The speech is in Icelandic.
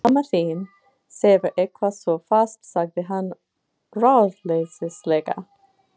Mamma þín sefur eitthvað svo fast sagði hann ráðleysislega.